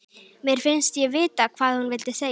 Mér finnst ég vita hvað hún vildi segja.